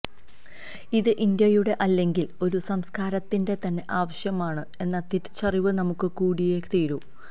ഇത് ഇന്ത്യയുടെ അല്ലെങ്കിൽ ഒരു സംസ്കാരത്തിന്റെ തന്നെ ആവശ്യമാണ് എന്ന തിരിച്ചറിവ് നമുക്ക് കൂടിയേ തീരു